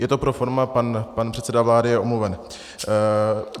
Je to pro forma, pan předseda vlády je omluven.